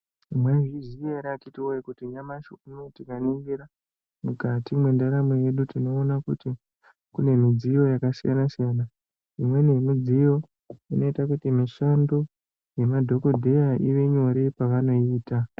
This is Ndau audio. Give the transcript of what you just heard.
Mwaizviziya ere akiti woye kuti nyamashi uno tikaningira tinoona kuti kune midziyo yakasiyana siyana imweni yemidziyo inoita kuti mishando yemadhokodheya ive nyore pavanoiita.